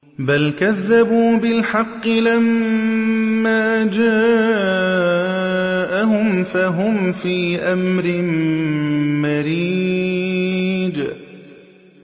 بَلْ كَذَّبُوا بِالْحَقِّ لَمَّا جَاءَهُمْ فَهُمْ فِي أَمْرٍ مَّرِيجٍ